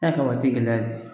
Ɛ ka waati gɛlɛya